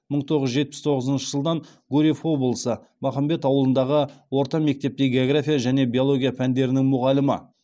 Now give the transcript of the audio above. мың тоғыз жүз жетпіс тоғызыншы жылдан гурьев облысы махамбет ауылындағы орта мектепте география және биология пәндерінің мұғалімі